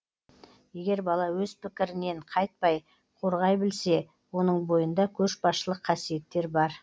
егер бала өз пікірінен қайтпай қорғай білсе оның бойында көшбасшылық қасиеттер бар